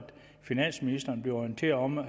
finansministeren bliver orienteret om at